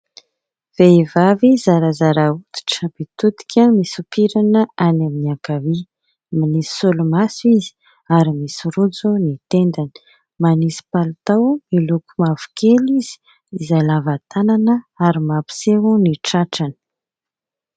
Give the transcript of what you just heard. Vehivavy zarazara hoditra mitodika misompirana any amin'ny ankavia, manisy solomaso izy ary misy rojo ny tendany, manisy palitao miloko mavokely izy izay lava tanana ary mampiseho ny tratrany.